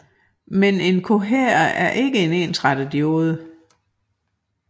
Men en kohærer er ikke en ensretterdiode